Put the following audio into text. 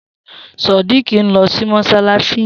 Sodiq n lò sí mọṣalaṣi yèn